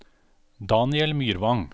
Daniel Myrvang